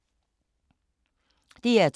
DR2